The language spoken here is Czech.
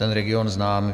Ten region znám.